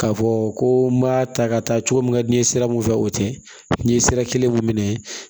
K'a fɔ ko n m'a ta ka taa cogo min ka di n ye sira mun fɛ o tɛ n ye sira kelen min ye